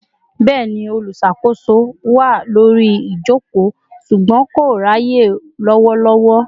Bẹni, olùṣàkóso wá lórí ijoko ṣùgbọ́n kò ráyè lowolowo